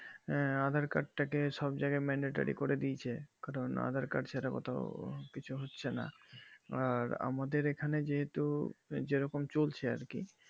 আঃ aadhaar card তাকে সব জাগায় মেনেত্রী করে দিয়েছে কারণ aadhaar card সেটাও কিছু হচ্ছে না আঃ আমাদের এখানে যেহেতু যেরকম চলছে আর কি